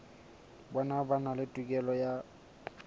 bona ba na le tokelo